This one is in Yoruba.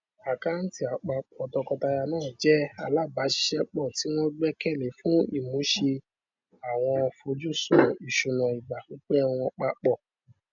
àkántì àpapọ tọkọtaya náà jẹ alábàáṣiṣẹpọ tí wọn gbẹkẹlé fún ìmúṣè àwọn fojúsùn ìsúná ìgbà pípẹ wọn papọ